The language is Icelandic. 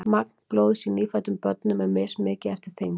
magn blóðs í nýfæddum börnum er mismikið eftir þyngd